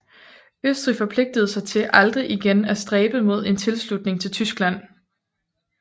Østrig forpligtede sig til aldrig igen af stræbe mod en tilslutning til Tyskland